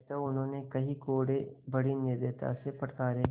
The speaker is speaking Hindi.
अतएव उन्होंने कई कोडे़ बड़ी निर्दयता से फटकारे